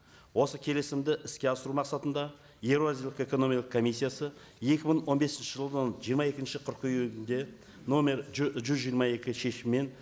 осы келісімді іске асыру мақсатында еуразиялық экономика комиссиясы екі мың он бесінші жылдың жиырма екінші қыркүйегінде номер жүз жиырма екі шешімімен